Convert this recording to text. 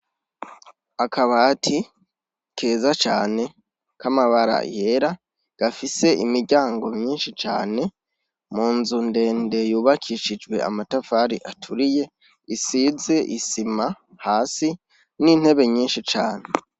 Akabati keza cane k'amabara yera, gafise imiryango myinshi cane, mu nzu ndende yubakishijwe amatavari aturiye, isize isima hasi ; n'intebe nyinshi cane.